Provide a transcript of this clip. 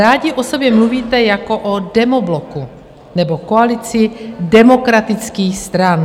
Rádi o sobě mluvíte jako o demobloku nebo koalici demokratických stran.